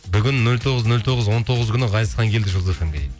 бүгін нөл тоғыз нөл тоғыз он тоғыз күні ғазизхан келді жұлдыз эф эм ге дейді